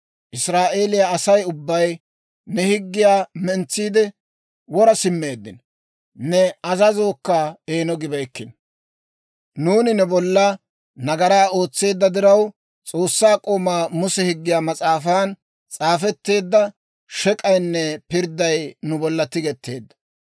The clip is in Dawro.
Israa'eeliyaa Asay ubbay ne higgiyaa mentsiide, wora simmeeddino; ne azazookka eeno gibeykkino. «Nuuni ne bolla nagaraa ootseedda diraw, S'oossaa k'oomaa Muse Higgiyaa Mas'aafan s'aafetteedda shek'k'aynne pirdday nu bolla tigetteedda.